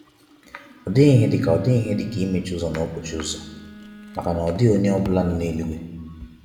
ọdighi ihe dika ọdighi ihe dika imechi ụzọ na nkpọchi ụzọ, maka na ọdighi onye ohi ọbula no n'eluigwe.